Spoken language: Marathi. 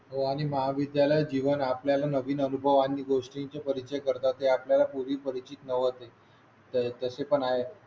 हो आणि महाविद्यालय जीवन आपल्याला नवीन अनुभव आणि गोष्टींचे परिचय करतात ते आपल्याला पूर्ण परिचित होते तसे पण आहे